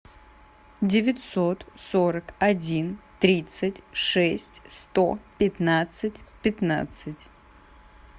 девятьсот сорок один тридцать шесть сто пятнадцать пятнадцать